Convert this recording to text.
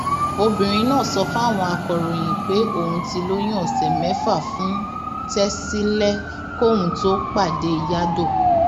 obìnrin náà sọ fáwọn akọròyìn pé òun ti lóyún ọsẹ mẹfà fún tẹsílẹ kóun tóó pàdé yadow